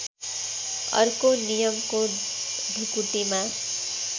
अर्को नियमको ढुकुटीमा